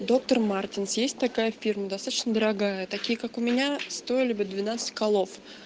доктор мартинс есть такая фирма достаточно дорогая такие как у меня стояли бы двенадцать колов